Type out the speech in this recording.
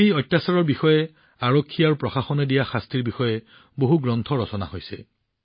এই অত্যাচাৰৰ ওপৰত আৰক্ষী আৰু প্ৰশাসনে দিয়া শাস্তি সম্পৰ্কে বহু কিতাপ লিখা হৈছে